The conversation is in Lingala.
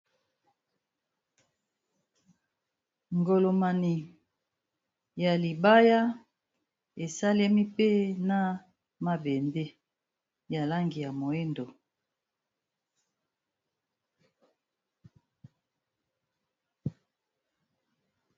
Armoireya libaya esalemi pe na mabende ya langi ya moindo